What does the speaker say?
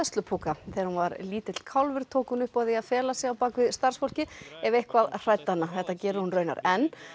hræðslupúka þegar hún var lítill kálfur tók hún upp á því að fela sig bak við starfsfólkið ef eitthvað hræddi hana þetta gerir hún raunar enn